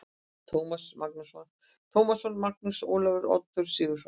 Tómasson, Magnús Ólafsson, Oddur Sigurðsson